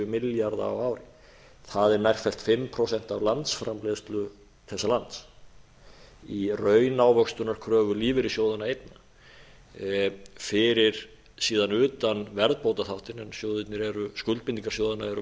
milljarða á ári það er nærfellt fimm prósent af landsframleiðslu þessa lands í raunávöxtunarkröfu lífeyrissjóðanna einna fyrir síðan utan verðbótaþáttinn en skuldbindingar sjóðanna eru verðtryggðar og